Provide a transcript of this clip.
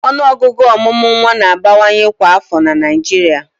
Ọnụọgụ ọmụmụ nwa na-abawanye kwa afọ na Naịjirịa